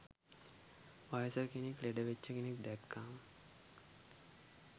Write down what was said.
වයසක කෙනෙක් ලෙඩ වෙච්ච කෙනෙක් දැක්කම